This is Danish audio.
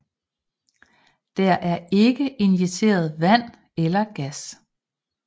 Der er ikke injiceret vand eller gas